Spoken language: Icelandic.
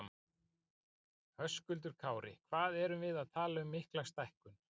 Höskuldur Kári: Hvað erum við að tala um mikla stækkun?